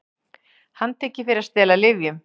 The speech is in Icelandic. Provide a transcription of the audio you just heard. Handtekin fyrir að stela lyfjum